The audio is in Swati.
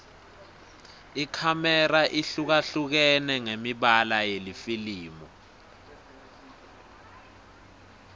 ikhamera ihlukahlukene ngemibala yelifilimu